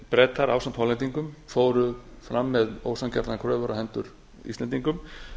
bretar ásamt hollendingum fóru fram með ósanngjarnar kröfur á hendur íslendingum